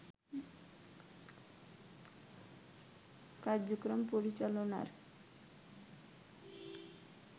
কার্যক্রম পরিচালনার